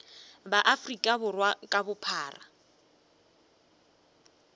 ba afrika borwa ka bophara